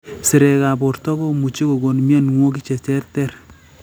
Sirekab borto komuchi kokon mionwogik cheterter